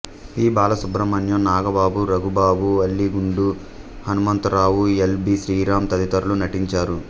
P Balasubrahmanyam Nagababu Raghubabu Ali Gundu Hanumantha Rao L B Sriram తదితరులు నటించారు